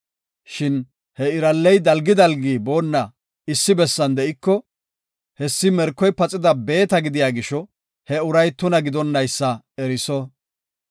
Shin he iralley dalgi dalgi boonna issi bessan de7iko, hessi merkoy paxida beeta gidiya gisho, he uray tuna gidonaysa eriso.